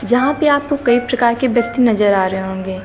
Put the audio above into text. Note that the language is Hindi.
जहां पे आपको कई प्रकार के व्यक्ति नजर आ रहे होंगे।